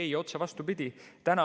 Ei, otse vastupidi.